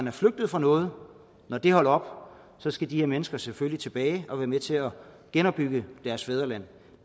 er flygtet fra noget og det holder op skal de her mennesker selvfølgelig tilbage og være med til at genopbygge deres fædreland